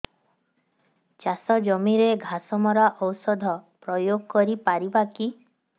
ଚାଷ ଜମିରେ ଘାସ ମରା ଔଷଧ ପ୍ରୟୋଗ କରି ପାରିବା କି